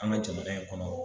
An ga jamana in kɔnɔ